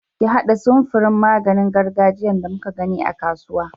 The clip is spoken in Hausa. Ka haɗa samfurn maganin gargajiyan da muka gani a kasuwa.